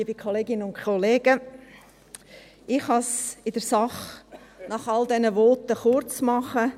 Ich kann es nach all diesen Voten in der Sache kurz machen: